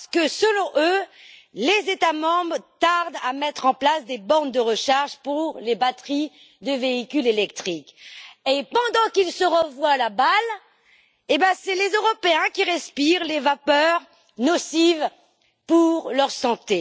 Parce que, selon eux, les États membres tardent à mettre en place des bornes de recharge pour les batteries de véhicules électriques et, pendant qu'ils se renvoient la balle, ce sont les Européens qui respirent les vapeurs nocives pour leur santé.